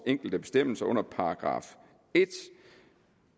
enkelte bestemmelser under § en